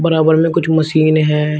बराबर में कुछ मशीन है।